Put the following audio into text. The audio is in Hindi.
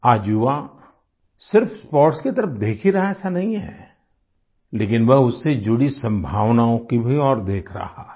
आज युवा सिर्फ स्पोर्ट्स की तरफ देख ही रहा ऐसा नहीं है लेकिन वह उससे जुड़ी संभावनाओं की भी ओर देख रहा है